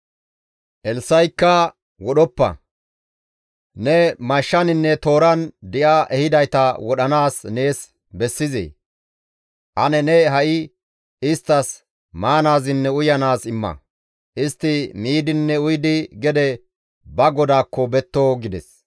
Elssa7ikka, «Wodhoppa; ne mashshaninne tooran di7a ehidayta wodhanaas nees bessizee? Ane ne ha7i isttas maanaazinne uyanaaz imma; istti miidinne uyidi gede ba godaakko betto!» gides.